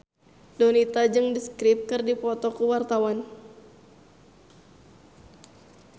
Donita jeung The Script keur dipoto ku wartawan